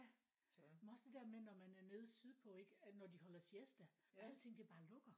Men også det der med når man er nede sydpå ikke når de holder siesta ikke og alting det bare lukker